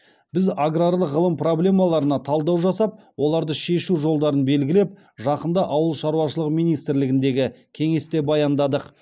біз аграрлық ғылым проблемаларына талдау жасап оларды шешу жолдарын белгілеп жақында ауыл шаруашылығы министрлігіндегі кеңесте баяндадық